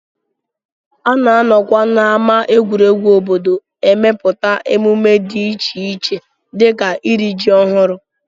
A na-anọkwa n'ámá egwuregwu obodo emepụta emume dị iche iche dịka iri ji ọhụrụ